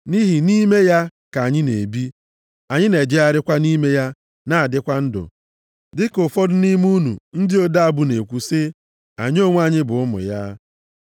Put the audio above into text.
‘Nʼihi nʼime ya ka anyị na-ebi, anyị na-ejegharịkwa nʼime ya na-adịkwa ndụ.’ Dịka ụfọdụ nʼime unu ndị ode abụ na-ekwu sị, ‘Anyị onwe anyị bụ ụmụ ya.’